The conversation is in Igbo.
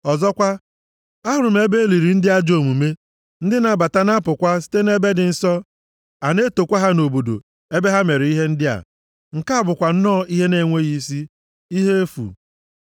Ọzọkwa, ahụrụ m ebe e liri ndị ajọ omume, ndị na-abata na apụkwa site nʼebe dị nsọ, a na-etokwa ha nʼobodo ebe ha mere ihe ndị a. Nke a bụkwa nnọọ ihe na-enweghị isi; ihe efu.